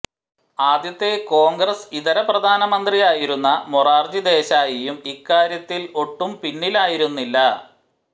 ആദ്യത്തെ കോൺഗ്രസ് ഇതര പ്രധാനമന്ത്രിയായിരുന്ന മൊറാർജി ദേശായിയും ഇക്കാര്യത്തിൽ ഒട്ടും പിന്നിലായിരുന്നില്ല